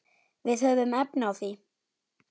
Við höfum efni á því.